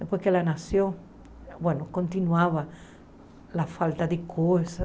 Depois que ela nasceu, continuava a falta de coisas,